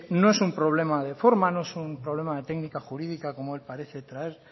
no es problema de forma no es un problema de técnica jurídica como él parece traer